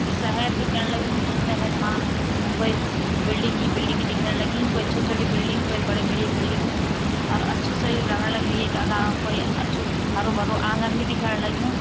यु शहर दिखेण लग्युं ये शहर मा कोई बिल्डिंग ही बिल्डिंग दिखेण लगीं कोई छोटी छोटी बिल्डिंग कोई बड़ी बड़ी बिल्डिंग और अच्छु सा ये लगण लग्युं येका कोई अछू हरु भरू आँगन भी दिखेण लग्युं।